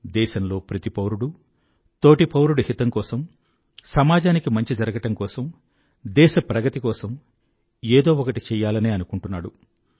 దేశంలో ప్రతి పౌరుడూ తోటి పౌరుడి హితం కోసం సమాజానికి మంచి జరగడం కోసం దేశ ప్రగతి కోసం ఏదో ఒకటి చెయ్యాలనే అనుకుంటున్నాడు